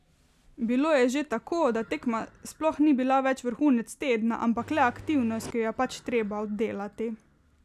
Bilo je že tako, da tekma sploh ni bila več vrhunec tedna, ampak le aktivnost, ki jo je pač treba oddelati.